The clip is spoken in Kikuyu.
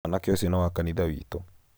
mwanake ũcio nĩ wa kanithawitũ